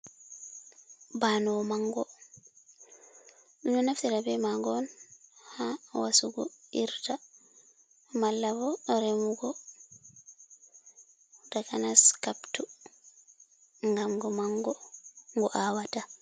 Banoo mango, ɗo naftira be mago on ha wasugo irta malka bo remugo takanas kaptu ngam ngo mango ngo awata.